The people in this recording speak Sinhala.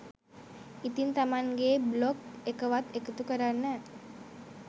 ඉතිං තමන්ගේ බ්ලොග් එකවත් එකතු කරන්න